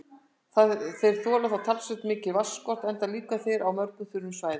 Þeir þola þó talsvert mikinn vatnsskort enda lifa þeir á mjög þurrum svæðum.